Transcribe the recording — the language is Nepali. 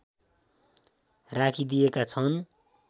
राखिदिएका छन्